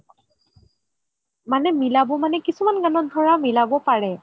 মানে মিলাব মানে কিছুমান গানত ধৰা মিলাব পাৰে